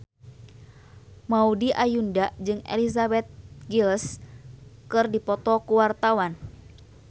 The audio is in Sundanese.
Maudy Ayunda jeung Elizabeth Gillies keur dipoto ku wartawan